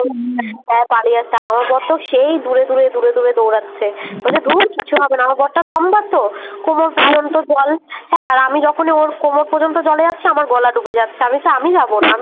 হ্যাঁ পালিয়ে আসছি আর আমার বড়তো সেই দূরে দূরে দূরে দূরে দৌড়াচ্ছে ধুর কিচ্ছু হবেনা আমার বড়টা লম্বা তো কোমর পর্যন্ত জল হ্যাঁ আর আমি যখনই ওর কোমর পর্যন্ত জলে যাচ্ছি আমার গলা ডুবে যাচ্ছি আমি বলছি আমি যাবোনা